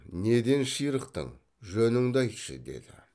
неден ширықтың жөніңді айтшы деді